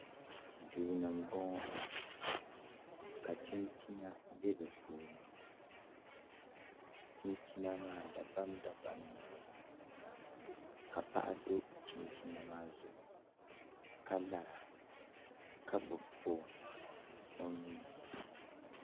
Duu ni n boŋo ka chinchina bɛ di puuni chinchina maa dabam dabam n nyɛli ka paɣa do chinchina maa zuɣu ka lara ka gbubi foon o nuuni